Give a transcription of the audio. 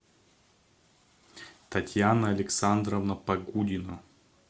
татьяна александровна погудина